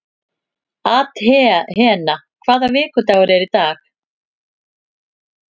Athena, hvaða vikudagur er í dag?